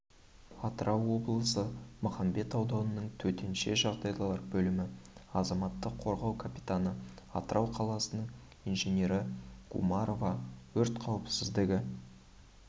атырау облысы махамбет ауданының төтенше жағдайлар бөлімі азаматтық қорғау капитаны атырау қаласының инженері гумарова өрт қауіпсіздігі